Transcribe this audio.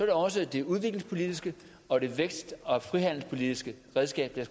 er også det udviklingspolitiske og det vækst og frihandelspolitiske redskab der